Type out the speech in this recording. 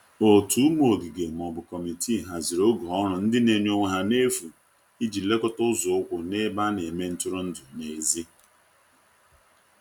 ótu ụmụ ogige/ Kọmitịị hazịrị oge ọrụ ndi n'enye onwe ha n'efu ịji lekota ụzo ukwu n'ebe ana eme ntụrụndụ n'ezi